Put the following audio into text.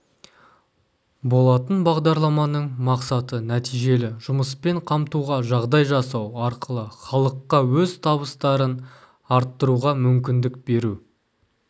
болатын бағдарламаның мақсаты нәтижелі жұмыспен қамтуға жағдай жасау арқылы халыққа өз табыстарын арттыруға мүмкіндік беру